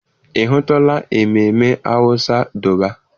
Ị hụtụla ememme awụsa Dọbaa?